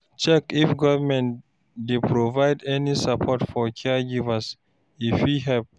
Check if government dey provide any support for caregivers, e fit help